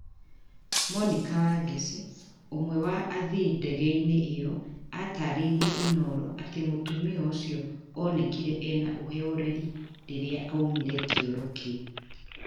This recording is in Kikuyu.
monica wangeci ũmwe wa athii ndege inĩ ĩyo atarĩiriĩ Inoro atĩ mũtumia ucio onekire ena uhoreri rĩrĩa aumire kĩoro kĩu